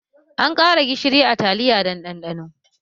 An ƙara gishiri a taliya don ɗanɗano